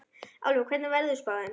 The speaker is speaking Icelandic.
Álfey, hvernig er veðurspáin?